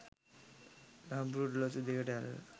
ලාම්පුව ඔරලෝසුව දෙසට අල්ලා